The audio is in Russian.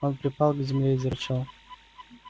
он припал к земле и зарычал